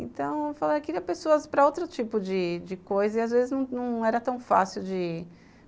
Então, eu queria pessoas para outro tipo de coisa e, às vezes, não era tão fácil de ir.